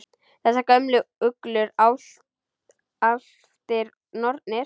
Þessar gömlu uglur, álftir, nornir?